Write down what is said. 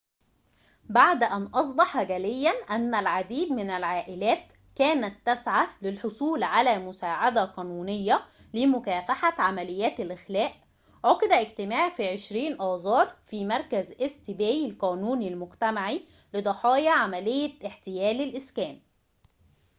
بعد أن أصبح جلياً أن العديد من العائلات كانت تسعى للحصول على مساعدة قانونية لمكافحة عمليات الإخلاء عُقد اجتماع في 20 آذار في مركز إيست باي القانوني المجتمعي لضحايا عملية احتيال الإسكان